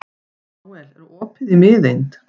Nóel, er opið í Miðeind?